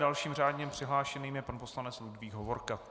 Dalším řádně přihlášeným je pan poslanec Ludvík Hovorka.